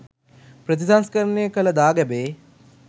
ප්‍රතිසංස්කරණය කළ දාගැබේ